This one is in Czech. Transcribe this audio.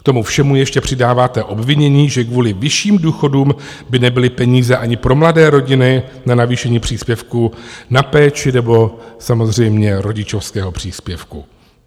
K tomu všemu ještě přidáváte obvinění, že kvůli vyšším důchodům by nebyly peníze ani pro mladé rodiny na navýšení příspěvku na péči nebo samozřejmě rodičovského příspěvku.